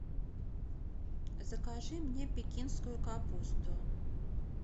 закажи мне пекинскую капусту